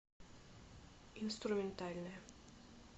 инструментальная